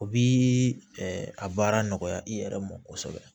O bi a baara nɔgɔya i yɛrɛ mɔ kosɛbɛ